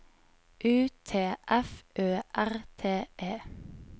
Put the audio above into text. U T F Ø R T E